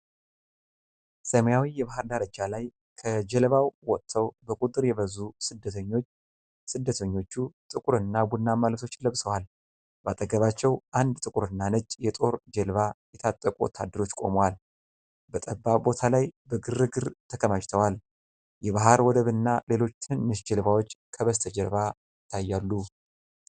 ሰማያዊ የባህር ዳርቻ ላይ፣ ከጀልባው ወጥተው በቁጥር የበዙ ስደተኞች፣ ስደተኞቹ ጥቁርና ቡናማ ልብሶችን ለብሰዋል። በአጠገባቸው አንድ ጥቁርና ነጭ የጦር ጀልባ የታጠቁ ወታደሮች ቆመዋል። በጠባብ ቦታ ላይ በግርግር ተከማችተዋል። የባህር ወደብና ሌሎች ትንንሽ ጀልባዎች ከበስተጀርባ ይታያሉ።